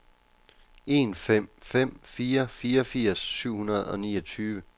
en fem fem fire fireogfirs syv hundrede og niogtyve